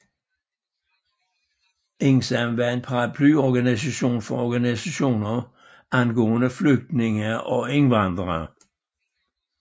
Indsam var en paraplyorganisation for organisationer vedrørende flygtninge og indvandrere